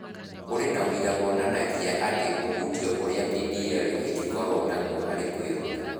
Kũrĩ na ũira wonanagia atĩ ũhutio ũrĩa DPL ĩngĩkorũo naguo harĩ kwĩruta.